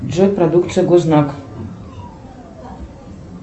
джой продукция гознак